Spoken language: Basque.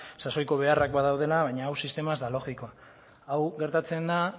sasoiko beharrak badaudela baina hau sistema ez da logikoa hau gertatzen da